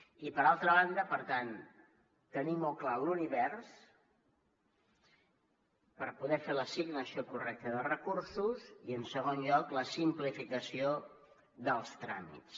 i per altra banda per tant tenir molt clar l’univers per poder fer l’assignació correcta de recursos i en segon lloc la simplificació dels tràmits